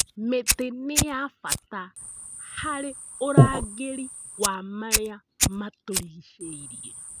Mĩtĩ nĩ ya bata harĩ ũrangĩri wa marĩa matũrigicĩirie.